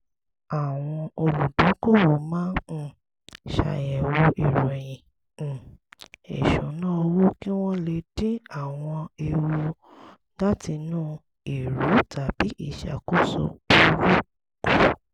àwọn olùdókòwò máa um ṣàyẹ̀wò ìròyìn um ìṣúnná owó kí wọ́n lè dín àwọn ewu látinú èrú tàbí ìṣàkóso burú kù